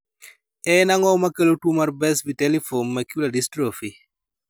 En ang'o makelo tuo mar Best vitelliform macular dystrophy?